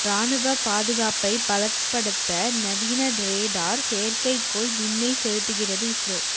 ராணுவப் பாதுகாப்பை பலப்படுத்த நவீன ரேடார் செயற்கைக்கோள் விண்ணில் செலுத்துகிறது இஸ்ரோ